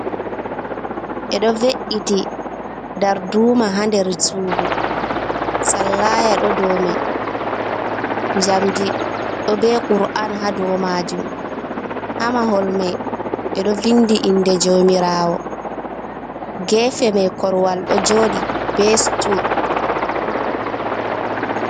Ɓeeɗo ve’’iti darduma ha nder suudu, sallaya ɗoo dou mai, jamdi ɗoo be kur’an ha dou majium. Ha mahol mai ɓeedoo vindi inde jaumirawo, geefe mai korwal ɗo joodi be sutul.